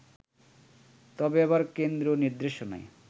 তবে এবার কেন্দ্রীয় নির্দেশনায়